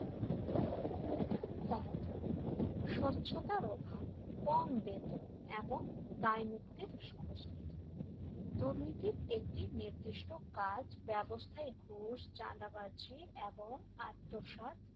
স্বচ্ছতার অভাব কম বেতন এবং দায়মুক্তির সংস্কৃতি দুর্নীতির একটি নির্দিষ্ট কাজ ব্যবস্থার ঘোষ চাঁদাবাজি এবং আত্মসাৎ